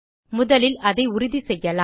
முதலில் அதை உறுதிசெய்யலாம்